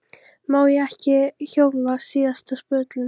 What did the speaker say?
Má ég ekki hjóla síðasta spölinn?